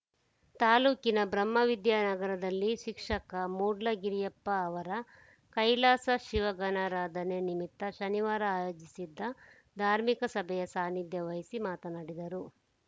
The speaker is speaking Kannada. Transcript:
ತಾಲೂಕಿನ ಬ್ರಹ್ಮವಿದ್ಯಾನಗರದಲ್ಲಿ ಶಿಕ್ಷಕ ಮೂಡ್ಲಗಿರಿಯಪ್ಪ ಅವರ ಕೈಲಾಸ ಶಿವಗಣರಾಧನೆ ನಿಮಿತ್ತ ಶನಿವಾರ ಆಯೋಜಿಸಿದ್ದ ಧಾರ್ಮಿಕ ಸಭೆಯ ಸಾನಿಧ್ಯ ವಹಿಸಿ ಮಾತನಾಡಿದರು